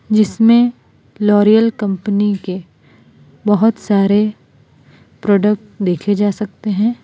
जिसमें L'Oreal company के बहुत सारे प्रोडक्ट देखे जा सकते हैं।